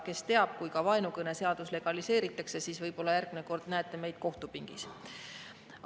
Kes teab, kui ka vaenukõneseadus legaliseeritakse, siis võib-olla järgmine kord näete meid kohtupingis.